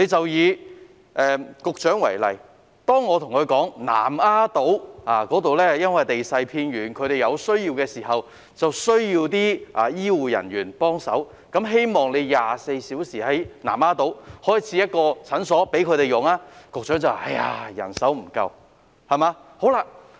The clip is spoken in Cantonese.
以局長為例，當我跟她討論南丫島地勢偏遠，當地居民在有需要時缺乏醫護人員協助，因此希望當局在南丫島開設一間24小時診所時，局長便答覆說醫護人手不足。